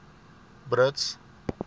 brits